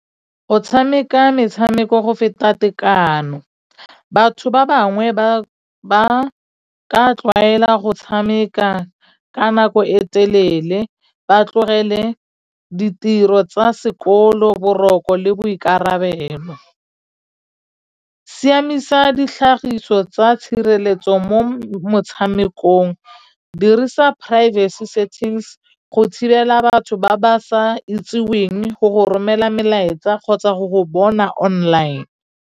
Go tshameka metshameko go feta tekano batho ba bangwe ba ka tlwaela go tshameka ka nako e telele ba tlogele ditiro tsa sekolo boroko le boikarabelo siamisa ditlhagiso tsa tshireletso mo motshamekong dirisa privacy settings go thibela batho ba ba sa itseweng go romela melaetsa kgotsa go go bona online.